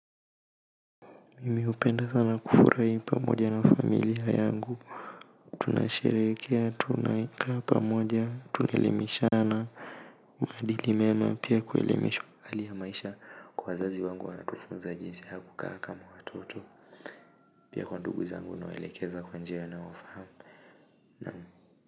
Mimi hupenda sana kufurahi pamoja na familia yangu tunasherehekea tunakaa pamoja tunaelimeshana maadili mema pia kuelemisha, hali ya maisha kwa wazazi wangu wanatufunza jinsi ya kukaa kama watoto pia kwa ndugu zangu nawaelekeza kwa njia wanayofahamu na.